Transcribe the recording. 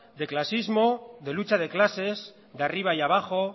de clasismo de lucha de clases de arriba y abajo